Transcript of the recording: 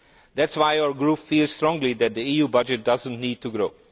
That is why our group feels strongly that the EU budget does not need to grow.